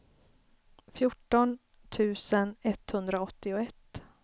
fjorton tusen etthundraåttioett